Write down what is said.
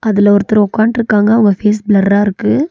அதுல ஒருத்தர் உக்கான்ட்ருக்காங்க அவங்க ஃபேஸ் பிளர்ரா இருக்கு.